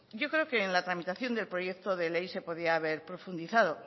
yo creo que en la tramitación del proyecto de ley se podía haber profundizado